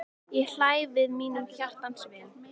Ég hlæ við mínum hjartans vini.